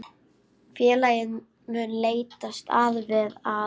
Félagið mun leitast við að